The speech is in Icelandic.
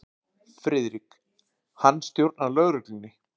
FRIÐRIK: Hann stjórnar lögreglunni.